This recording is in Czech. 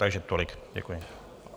Takže tolik, děkuji.